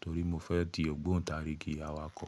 torí mo fẹ́ di ògbóǹtarigì awakọ̀.